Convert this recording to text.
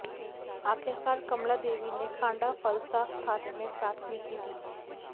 आखिरकार कमला देवी ने खांडा फलसा थाने में प्राथमिकी दी